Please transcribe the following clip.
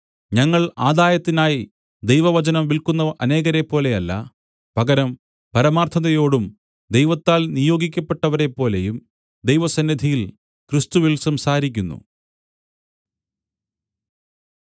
ഞങ്ങൾ ആദായത്തിനായി ദൈവവചനം വിൽക്കുന്ന അനേകരെപ്പോലെ അല്ല പകരം പരമാർത്ഥതയോടും ദൈവത്താൽ നിയോഗിക്കപ്പെട്ടവരെപ്പോലെയും ദൈവസന്നിധിയിൽ ക്രിസ്തുവിൽ സംസാരിക്കുന്നു